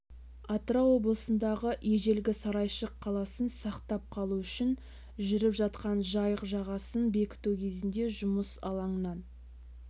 атырау облысындағы ежелгі сарайшық қаласын сақтап қалу үшін жүріп жатқан жайық жағасын бекіту кезінде жұмыс алаңынан